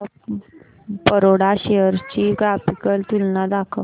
bank of Baroda shares ची graphical तुलना दाखव